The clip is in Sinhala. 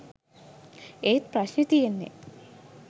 ඒත් ප්‍රශ්නෙ තියෙන්නෙ